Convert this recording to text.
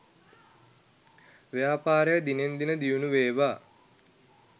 ව්‍යාපාරය දිනෙන් දින දියුණුවේවා